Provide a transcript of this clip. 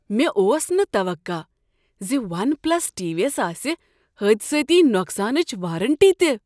مےٚ اوس نہٕ توقع ز ون پلس ٹی وی یس آسہ حٲدِثٲتی نوقسانٕچ وارنٹی تہ۔